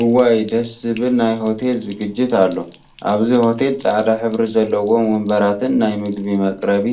እዋይ ደስ ዝብል ናይ ሆቴል ዝግጅት አሎ፡፡ አብዚ ሆቴል ፃዕዳ ሕብሪ ዘለዎም ወንበራትን ናይ ምግቢ መቀረቢ